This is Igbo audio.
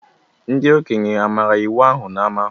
Ndi okenye amara iwu ahụ n’ama?